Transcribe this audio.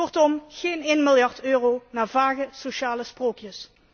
Kortom geen één miljard euro naar vage sociale sprookjes.